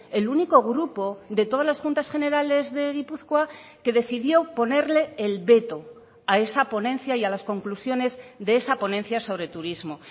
el único grupo de todas las juntas generales de gipuzkoa que decidió ponerle el veto a esa ponencia y a las conclusiones de esa ponencia sobre turismo